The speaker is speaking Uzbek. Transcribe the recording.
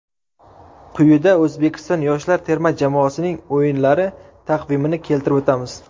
Quyida O‘zbekiston yoshlar terma jamoasining o‘yinlari taqvimini keltirib o‘tamiz.